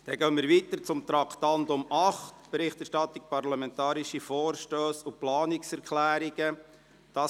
Wir gehen weiter zu Traktandum 8: Berichterstattung parlamentarische Vorstösse und Planungserklärungen 2018.